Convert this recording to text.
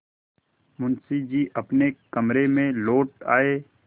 मुंशी जी अपने कमरे में लौट आये